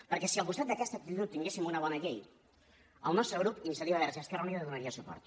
perquè si al costat d’aquesta actitud tinguéssim una bona llei el nostre grup iniciativa verds i esquerra unida hi donaria suport